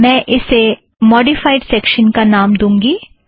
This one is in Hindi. मैं इसे मौड़िफ़ाइड़ सेक्शन का नाम दूँगी